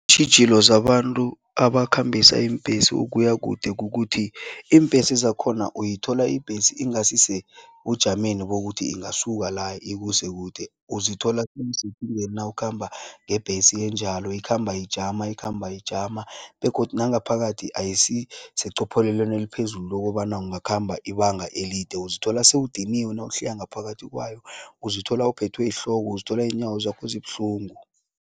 Iintjhijilo zabantu abakhambisa iimbhesi ukuya kude kukuthi iimbhesi zakhona uyithola ibhesi ingasisebujameni bokuthi ingasuka la, ikuse kude. Uzithola nawukhamba ngebhesi enjalo, ikhamba ijama, ikhamba ijama begodu nangaphakathi ayisiseqopheleleni eliphezulu lokobana ungakhamba ibanga elide. Uzithola sewudiniwe nawuhlika ngaphakathi kwayo, uzithola uphethwe yihloko, uzithola inyawo zakho zibuhlungu.